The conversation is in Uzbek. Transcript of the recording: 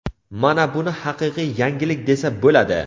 Mana buni haqiqiy yangilik desa bo‘ladi‼.